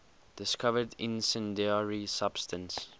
discovered incendiary substance